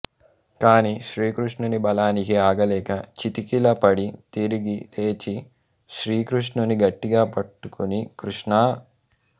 కాని శ్రీకృష్ణుని బలానికి ఆగలేక చతికిల పడి తిరిగి లేచి శ్రీకృష్ణుని గట్టిగా పట్టుకుని కృష్ణా